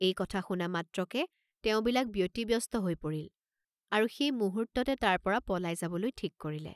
এই কথা শুনা মাত্ৰকে তেওঁবিলাক ব্যতিব্যস্ত হৈ পৰিল, আৰু সেই মুহূৰ্ত্ততে তাৰ পৰা পলাই যাবলৈ ঠিক কৰিলে।